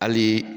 Hali